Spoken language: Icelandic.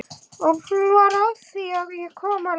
Og hún fór afþvíað ég kom til að lifa.